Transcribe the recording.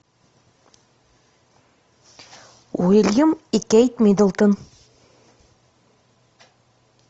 уильям и кейт миддлтон